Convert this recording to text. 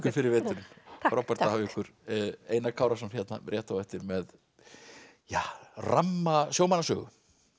fyrir veturinn takk frábært að hafa ykkur Einar Kárason hérna rétt á eftir með ramma